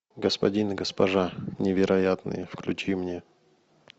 господин и госпожа невероятные включи мне